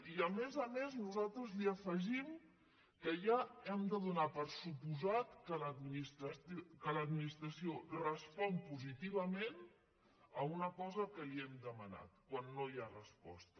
i a més a més nosaltres hi afegim que ja hem de donar per descomptat que l’administració respon positivament a una cosa que li hem demanat quan no hi ha resposta